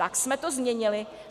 Tak jsme to změnili.